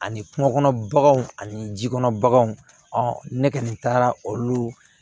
Ani kungo kɔnɔ baganw ani ji kɔnɔ baganw ne kɔni taara olu